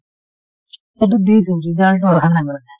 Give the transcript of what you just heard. সেইটো দি থৈছোঁ result টো আহা নাই বাৰু